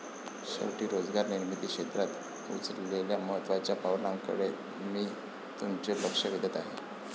शेवटी रोजगार निर्मिती क्षेत्रात उचललेल्या महत्त्वाच्या पावलांकडे मी तुमचे लक्ष वेधत आहे.